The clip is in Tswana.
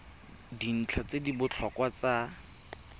dintlha tse di botlhokwa tsa